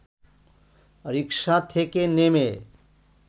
রিকশা থেকে নেমে